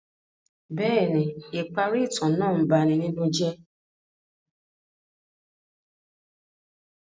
Bẹẹni, ipari itan naa ń bani ninu jẹ.